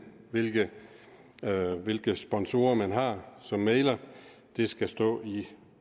hvilke hvilke sponsorer man har som mægler det skal stå i